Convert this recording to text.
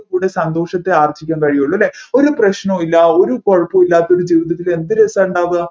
കൂടി സന്തോഷത്തെ ആർജിക്കാൻ കഴിയുള്ളു അല്ലെ ഒരു പ്രശ്നമില്ല ഒരു കുഴപ്പം ഇല്ലാത്തൊരു ജീവിതത്തിൽ എന്ത് രസമാണ് ഉണ്ടാവുക